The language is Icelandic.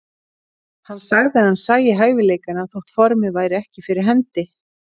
Hann sagði að hann sæi hæfileikana þótt formið væri ekki fyrir hendi.